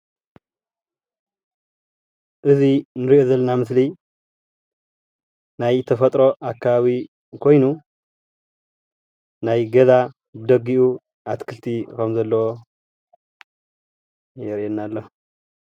እዚ ኣብ ምስሊ ዘሎ ናይ ተፎጥሮ ኣከባቢ ኾይኑ ናይ ገዛ ብደጊኡ ኣትኽልቲ ከሞ ዘለዎ የርእየና ኣሎ።